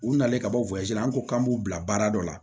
U nalen ka bɔ la an ko k'an b'u bila baara dɔ la